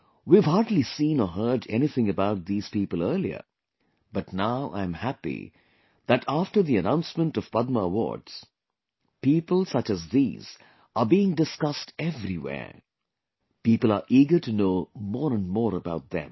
We have hardly seen or heard anything about these people earlier, but now I am happy that after the announcement of Padma Awards, people such as these are being discussed everywhere; people are eager to know more and more about them